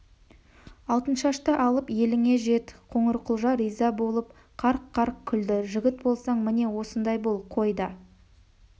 алтыншашты алып еліңе жет қоңырқұлжа риза болып қарқ-қарқ күлді жігіт болсаң міне осындай бол қой да